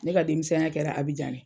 Ne ka denmisɛn ya kɛra Abijan de.